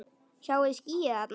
Sjáiði skýið þarna?